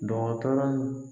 Dɔgɔtɔrɔ